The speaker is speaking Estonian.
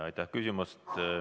Aitäh küsimast!